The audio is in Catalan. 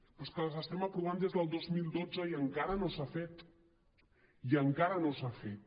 però és que les estem aprovant des del dos mil dotze i encara no s’ha fet i encara no s’ha fet